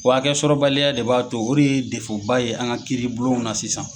Wa hakɛsɔrɔbaliya de b'a to o de ye ba ye , an ka kiiribulonw na sisan.